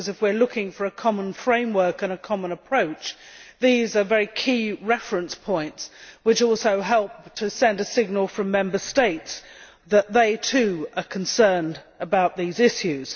If we are looking for a common framework and a common approach, these are very key reference points which also help to send a signal from Member States that they, too, are concerned about these issues.